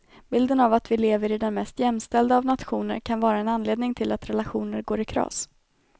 Bilden av att vi lever i den mest jämställda av nationer kan vara en anledning till att relationer går i kras.